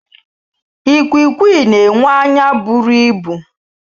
Ikwiikwii na-enwe anya bụrụ ịbụ.